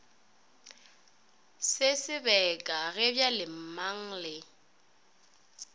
se sebeka ge bjalemang le